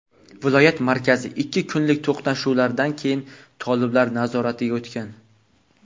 viloyat markazi ikki kunlik to‘qnashuvlardan keyin toliblar nazoratiga o‘tgan.